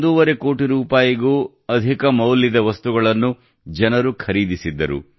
5 ಕೋಟಿ ರೂಪಾಯಿಗೂ ಅಧಿಕ ಮೌಲ್ಯದ ವಸ್ತುಗಳನ್ನು ಜನರು ಖರೀದಿಸಿದ್ದರು